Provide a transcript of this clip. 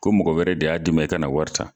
Ko mɔgɔ wɛrɛ de y'a di ma, i ka na wari ta